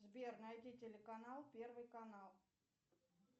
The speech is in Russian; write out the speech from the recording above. сбер найди телеканал первый канал